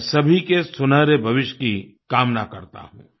मैं सभी के सुनहरे भविष्य की कामना करता हूँ